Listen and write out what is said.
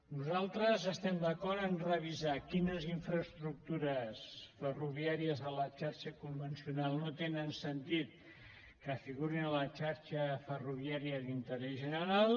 nosaltres estem d’acord a revisar quines infraestructures ferroviàries de la xarxa convencional no té sentit que figuri en la xarxa ferroviària d’interès general